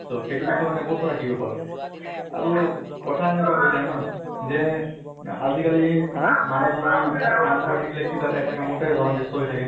so সেইটো বিষয়ে মানে বহুত কথা শিকিব পালো। আৰু কথা এনেকুৱা হৈ যায় ন যে আজি কালি মানুহ জনা কাম কৰি থাকিলে কিবা এটা এটা কামতে ব্য়স্ত হৈ থাকে